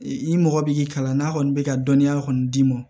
I mɔgɔ b'i kalan n'a kɔni bɛ ka dɔnniya kɔni d'i ma